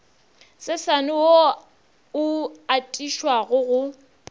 sesane wo o atišago go